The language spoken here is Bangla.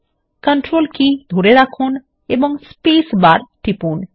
কন্ট্রোল কী ধরে রাখুন এবং স্পেস বার টিপুন